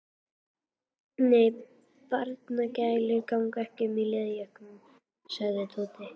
Nei, barnagælur ganga ekki um í leðurjökkum sagði Tóti.